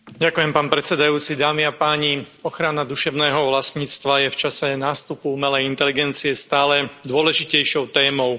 Vážený pán predsedajúci, ochrana duševného vlastníctva je v čase nástupu umelej inteligencie stále dôležitejšou témou.